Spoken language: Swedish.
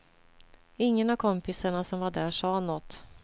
Ingen av kompisarna som var där sa något.